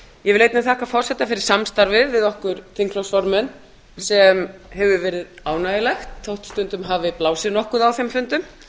ég vil einnig þakka forseta fyrir samstarfið við okkur þingflokksformenn sem hefur verið ánægjulegt þótt stundum hafi blásið nokkuð á þeim fundum